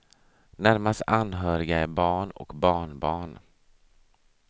Närmast anhöriga är barn och barnbarn.